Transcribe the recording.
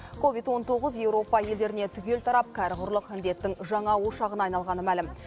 ковид он тоғыз еуропа елдеріне түгел тарап кәрі құрлық індеттің жаңа ошағына айналғаны мәлім